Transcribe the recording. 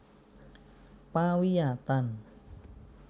Pawiyatan